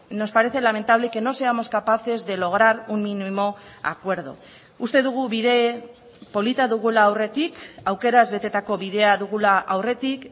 nos parece lamentable que no seamos capaces de lograr un mínimo acuerdo uste dugu bide polita dugula aurretik aukeraz betetako bidea dugula aurretik